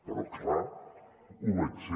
però clar ho vaig ser